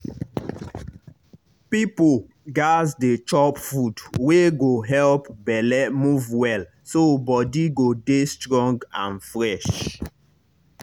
people gats dey chop food wey go help belle move well so body go dey strong and fresh.